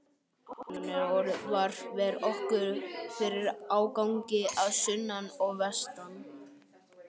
Hann ver okkur fyrir ágangi að sunnan og vestan.